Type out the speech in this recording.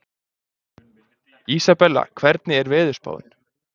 Isabella, hvernig er veðurspáin?